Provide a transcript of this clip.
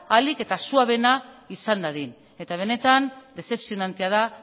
ahalik eta suabeena izan dadin eta benetan dezepzionantea da